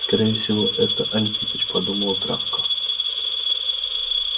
скорее всего это антипыч подумала травка